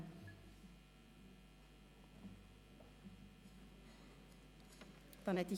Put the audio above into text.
Abstimmung (Kompetenzerteilung an das Präsidium des Grossen Rats zur Anpassung des Entscheids des Grossen Rats)